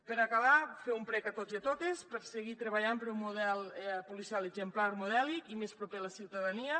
per acabar fer un prec a tots i a totes per seguir treballant per un model exemplar modèlic i més proper a la ciutadania